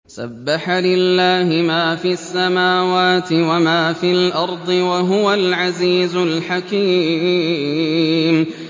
سَبَّحَ لِلَّهِ مَا فِي السَّمَاوَاتِ وَمَا فِي الْأَرْضِ ۖ وَهُوَ الْعَزِيزُ الْحَكِيمُ